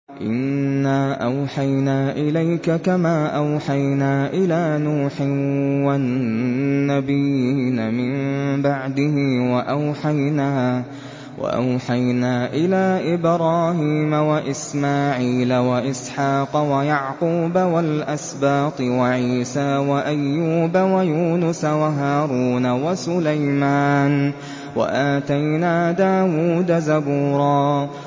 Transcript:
۞ إِنَّا أَوْحَيْنَا إِلَيْكَ كَمَا أَوْحَيْنَا إِلَىٰ نُوحٍ وَالنَّبِيِّينَ مِن بَعْدِهِ ۚ وَأَوْحَيْنَا إِلَىٰ إِبْرَاهِيمَ وَإِسْمَاعِيلَ وَإِسْحَاقَ وَيَعْقُوبَ وَالْأَسْبَاطِ وَعِيسَىٰ وَأَيُّوبَ وَيُونُسَ وَهَارُونَ وَسُلَيْمَانَ ۚ وَآتَيْنَا دَاوُودَ زَبُورًا